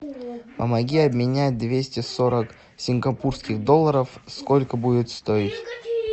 помоги обменять двести сорок сингапурских долларов сколько будет стоить